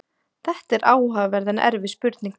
Þetta er áhugaverð en erfið spurning.